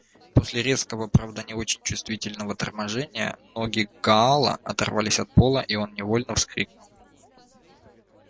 после резкого правда не очень чувствительного торможения ноги гаала оторвались от пола и он невольно вскрикнул